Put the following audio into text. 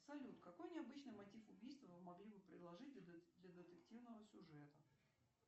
салют какой необычный мотив убийства вы могли бы предложить для детективного сюжета